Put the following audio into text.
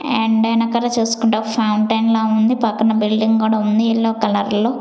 And ఎనకళ చూస్కుంటే ఒక ఫౌంటెన్ లా ఉంది పక్కన బిల్డింగ్ గూడ ఉంది ఎల్లో కలర్లో .